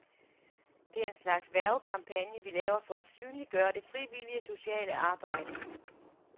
Det er en slags hvervekampagne, vi laver for at synliggøre det frivillige sociale arbejde.